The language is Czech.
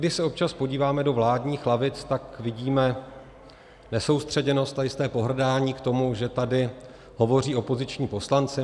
Když se občas podíváme do vládních lavic, tak vidíme nesoustředěnost a jisté pohrdání k tomu, že tady hovoří opoziční poslanci.